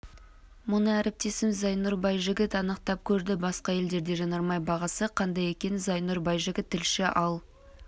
мұны әріптесім зайнұр байжігіт анықтап көрді басқа елдерде жанармай бағасы қандай екен зайнұр байжігіт тілші ал